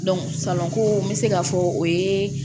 ko n bɛ se k'a fɔ o ye